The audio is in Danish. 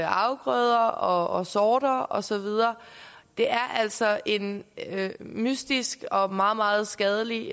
afgrøder og sorter og så videre det er altså en mystisk og meget meget skadelig